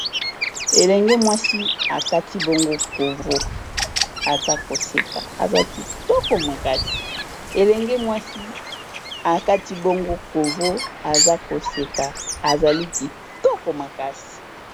elenge mwasi akati bongo covo aza koseka ezali kitoko makasi